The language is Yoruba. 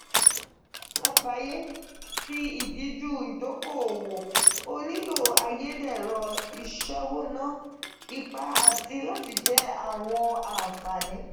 ninu agbaye ti idiju idoko-owo o nilo ayedero isewona ipa ati lati jẹ awọn anfani.